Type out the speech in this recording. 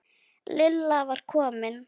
Lilla var komin.